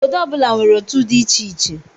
Obodo ọ bụla nwere otú dị iche iche.